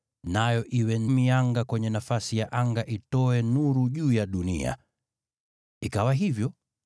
nayo iwe mianga kwenye nafasi ya anga ya kutia nuru juu ya dunia.” Ikawa hivyo.